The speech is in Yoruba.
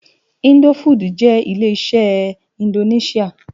Indófúd jè lé-iṣè indónisiá